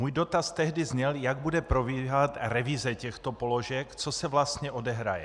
Můj dotaz tehdy zněl, jak bude probíhat revize těchto položek, co se vlastně odehraje.